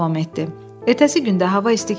Ertəsi gün də hava isti keçdi.